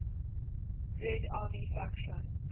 red army faction